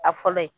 A fɔlɔ ye